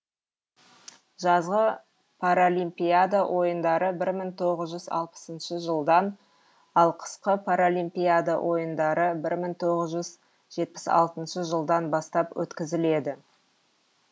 жазғы паралимпиада ойындары бір мың тоғыз жүз алпысыншы жылдан ал қысқы паралимпиада ойындары бір мың тоғыз жүз жетпіс алтыншы жылдан бастап өткізіледі